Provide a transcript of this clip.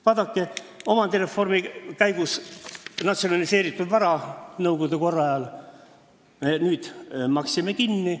Vaadake, omandireformi käigus me maksime nõukogude korra ajal natsionaliseeritud vara kinni.